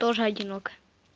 тоже одиноко